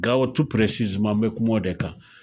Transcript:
Gawo n bɛ kuma o de kan